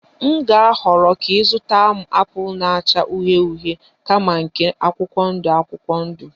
M ga-ahọrọ ka ị zụta m apụl na-acha uhie uhie kama nke akwụkwọ ndụ akwụkwọ ndụ